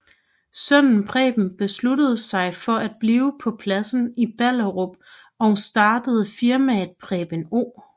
Sønnen Preben beslutter sig for at blive på pladsen i Ballerup og startede firmaet Preben O